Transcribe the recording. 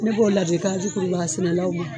Ne b'o ladilikan di kurubaga sɛnɛlaw